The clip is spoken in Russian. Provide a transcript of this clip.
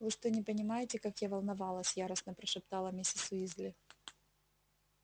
вы что не понимаете как я волновалась яростно прошептала миссис уизли